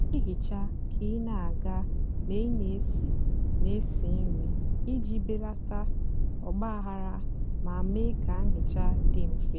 nà-èhicha kà ị nà-àga mgbe ị nà-èsi nà-èsi nri íjì belata ọgbághara mà mée kà nhicha dị mfè.